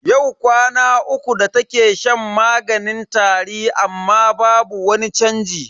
Yau kwana uku da take shan maganin tari amma babu wani chanji.